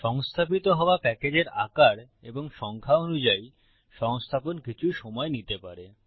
সংস্থাপিত হওয়া প্যাকেজের আকার এবং সংখ্যা অনুযায়ী সংস্থাপন কিছু সময় নিতে পারে